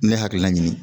Ne hakilina ɲini